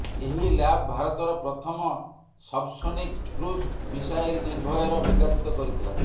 ଏହି ଲ୍ୟାବ୍ ଭାରତର ପ୍ରଥମ ସବସୋନିକ କ୍ରୁଜ୍ ମିସାଇଲ ନିର୍ଭୟର ବିକଶିତ କରିଥିଲା